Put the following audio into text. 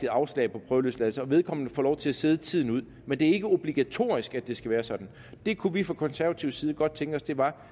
afslag på prøveløsladelse så vedkommende får lov til at sidde tiden ud men det er ikke obligatorisk at det skal være sådan det kunne vi fra konservativ side godt tænke os det var